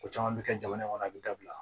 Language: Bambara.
Ko caman bɛ kɛ jamana kɔnɔ a bɛ dabila